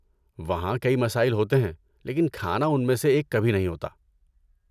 وہاں کئی مسائل ہوتے ہیں لیکن کھانا ان میں سے ایک کبھی نہیں ہوتا!